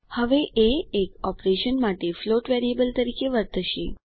હવે એ એક ઓપરેશન માટે ફ્લોટ વરીયેબ્લ તરીકે વર્તશે